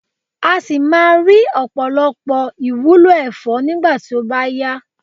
a si maa ri opolopo iwulo efo nigba ti o ba ya